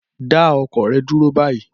Dá ọkọ̀ dúró báyìí